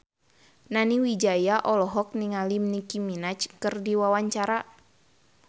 Nani Wijaya olohok ningali Nicky Minaj keur diwawancara